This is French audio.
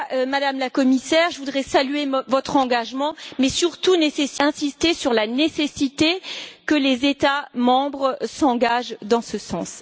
Madame la Commissaire, je voudrais saluer votre engagement, mais surtout insister sur la nécessité que les États membres s'engagent dans ce sens.